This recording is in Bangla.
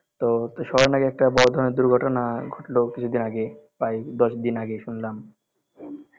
তো, তো শহরে নাকি একটা বড় ধরনের দুর্ঘটনা ঘটলো কিছুদিন আগে, প্রায় দশদিন আগে শুনলাম